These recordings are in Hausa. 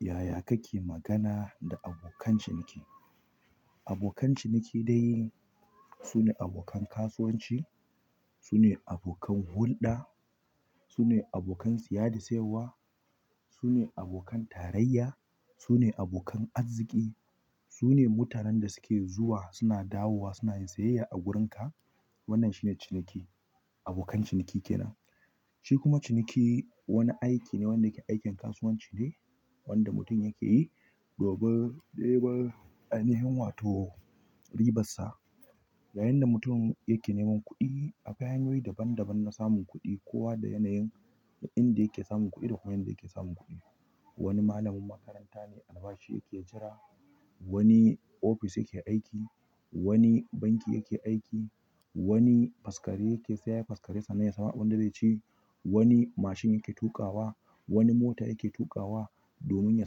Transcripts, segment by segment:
Yaya kake magana da abokan ciniki? Abokan ciniki dai su ne abokan kasuwanci, su ne abokan hulɗa, su ne abokan siya da sayarwa, su ne abokan tarayya, su ne abokan arziki, su ne mutanen da suke zuwa suna dawowa suna yin siyayya a wurinka. Wannan shine ciniki. Abokan ciniki kenan. Shi kuma ciniki wani aiki ne wanda yake aikin kasuwanci ne wanda mutum yake yi. Dubu, ɗeba a neman wato ribassa. Yayinda mutum yake neman kuɗi, akwai hanyoyi daban daban na samun kuɗi kowa da yanayin inda yake samun kuɗi da kuma yanda yake samun kuɗi. Wani malamin makaranta ne albashi yake jira, wani ofis yake aiki, wani banki yake aiki, wani faskare yake saiya yi faskare sannan ya samu abin da zai ci, wani mashin yake tuƙawa, wani mota yake tuƙawa domin ya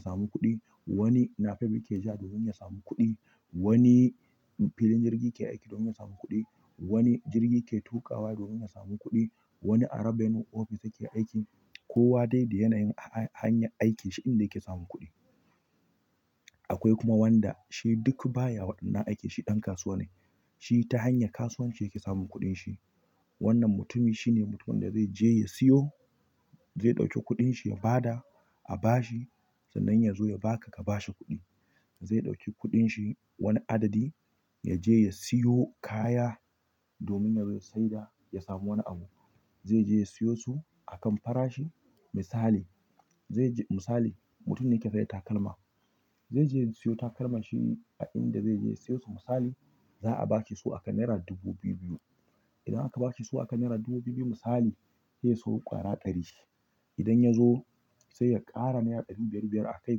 samu kuɗi, wani nafef yake ja domin ya samu kuɗi, wani filin jirgi yake aiki domin ya samu kuɗi, wani jirgi yake tuƙawa domin ya samu kuɗi, wani a rabenu ofis yake aiki. Kowa dai da yanayin hanyar aikin shi inda yake samun kuɗi. Akwai kuma wanda shi duk baya waɗannan aiki shi ɗan kasuwa ne. Shi ta hanyar kasuwanci yake samun kuɗin shi. Wannan mutumin shine mutumin da zaije ya siyo, zai ɗauki kudinshi ya bada a bashi sannan ya zo ya baka ka bashi kuɗi. Zai ɗauki kuɗin shi wani adadi ya je ya siyo kaya domin ya zo ya saida ya samu wani abu. Zai je ya siyo su a kan farashi. Misali zai je misali mutum ne ke sayar da takalma. Zai je ya siyo takalman shi a inda zai je ya siyo su misali za a bashi su akan naira dubu biyu biyu. Idan aka bashi su aka naira dubu biyu biyu misali zai siyo ƙwara ɗari. Idan ya zo sai ya ƙara naira ɗari biyar biyar akai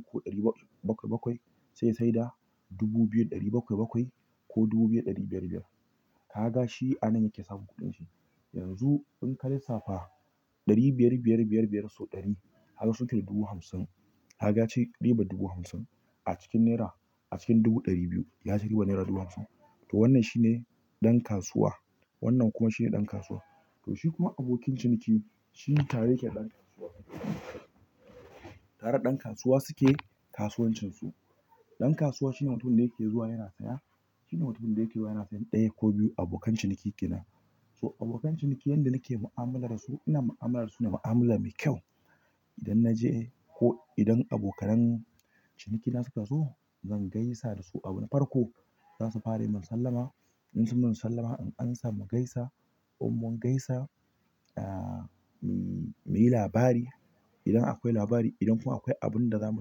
ko ɗari bakwai sai ya saida dubu biyu ɗari bakwai bakwai ko dubu biyu ɗari biyar biyar. Ka ga shi a nan yake samun kuɗin shi. Yanzu in ka lissafa ɗari biyar, biyar, biyar, biyar sau ɗari harsun tafi dubu hamsin. Kaga ya ci rabar dubu hamsin a cikin naira a cikin dubu ɗari biyu ya ci ribar naira dubu hamsin. To wannan shi ne ɗan kasuwa. Wannan kuma shi ne ɗan kasuwa. To shi kuma abokin ciniki shi tare yake da dan kasuwa tareda ɗan kasuwa suke kasuwancin su. Ɗan kasuwa shine mutumin da yake zuwa yana saya. Shine mutumin da yake zuwa yana sayan ɗaya ko biyu abokan ciniki kenan. To abokan ciniki yanda nake mu'amala da su ina mu'amala da su da mu'amala mai kyau. Idan na je ko idan abokanan cinikina suka zo zan gaisa da su abu na farko. Za su fara yi min sallama. In sun min masallama in ansa mugaisa ko in mun gaisa, aa, muyi labari. Idan akwai labari idan kuma akwai abin da za mu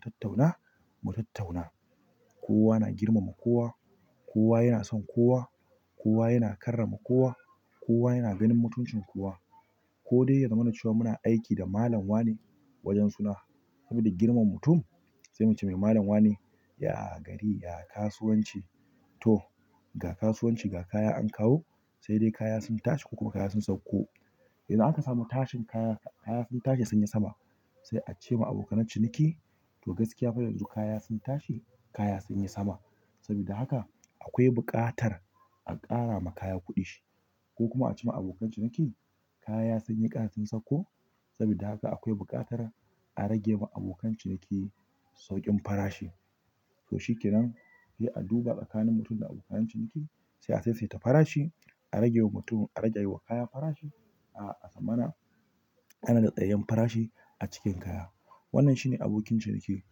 tattauna mu tattauna. Kowa na girmama kowa. Kowa yana son kowa. Kowa yana karrama kowa. Kowa yana ganin mutuncin kowa. Ko dai ya zama na cewa muna aiki da malam wane wajen suna saboda girmama mutum sai muce mai malam wane. Ya gari, ya kasuwanci to ga kasuwanci ga kaya an kawo sai dai kaya sun tashi ko ko kaya sun sauko. Idan aka samu tashin kaya kaya sun tashi sun yi sama sai a ce ma abokan ciniki to gaskiya fa yanzu kaya sun tashi kaya sun yi sama. Saboda haka akwai buƙatar a ƙara ma kaya kuɗin shi ko kuma a ce ma abokan ciniki kaya sun yi ƙar sun sauko saboda haka akwai buƙatar a rage wa abokan ciniki sauƙin farashi. To shi kenan sai a duba tsakanin mutum da abokan ciniki sai a saisaita farashi a rage wa mutum a rage wa kaya farashi. A, a tsammanin kana da tsayayyen farashi a cikin ƙaya. Wannan shine abokin ciniki.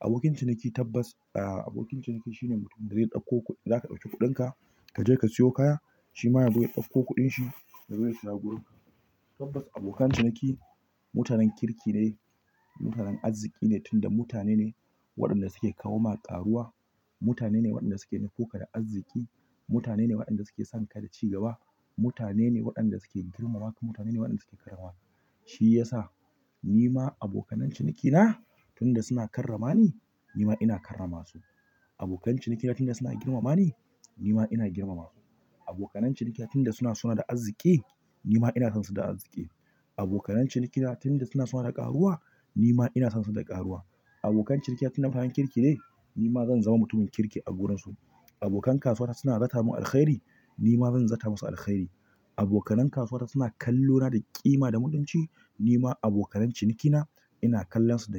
Abokin ciniki tabbas a, abokin ciniki shine mutumin da zai ɗauko kuɗi. Zaka ɗauki kuɗin ka, ka je ka siyo kaya shi ma yazo ya ɗauko kuɗin shi da zai saya wurin ka. Tabbas abokan ciniki mutanen kirki ne, mutanen arziki ne tun da mutane ne waɗanda suke kawo ma ƙaruwa. Mutane ne waɗanda suke nufo ka da arziki. Mutane ne waɗanda suke sonka da cigaba. Mutane ne waɗanda suke girmama ka mutane ne waɗanda suke kai ma. Shi ya sa ni ma abokan ciniki na tun da suna karrama ni, ni ma ina karrama su. Abokan ciniki na tun da suna girmama ni, ni ma ina girmama su. Abokan cinikina tun da suna sona da arziki ni ma ina son su da arziki. Abokanan ciniki na tunda suna sona da karuwa nima ina sonsu da karuwa. Abokan ciniki na tun da mutanen kirki ne ni ma zan zama mutumin kirki a wurin su. Abokan kasuwa ta suna zata min alkhairi nima zan zata musu. Alkhairi. Abokan kasuwa ta suna kallona da ƙima da mutunci ni ma abokan ciniki na ina kallon su da.